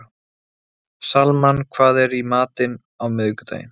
Salmann, hvað er í matinn á miðvikudaginn?